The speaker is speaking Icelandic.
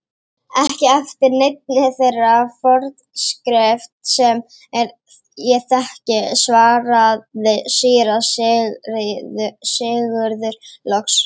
Ekki eftir neinni þeirri forskrift sem ég þekki, svaraði síra Sigurður loks.